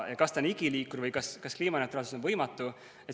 Kas ta on igiliikur või kas kliimaneutraalsus on võimatu?